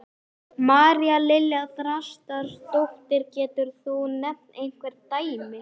María Lilja Þrastardóttir: Getur þú nefnt einhver dæmi?